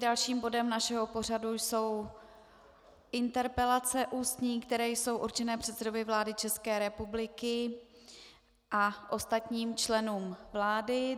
Dalším bodem našeho pořadu jsou interpelace ústní, které jsou určené předsedovi vlády České republiky a ostatním členům vlády.